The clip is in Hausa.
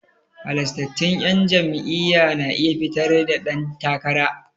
Halastattun 'yan jam'iyya na iya fitar da dan takara.